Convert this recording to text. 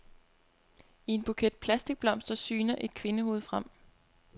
I en buket plastikblomster syner et kvindehoved frem.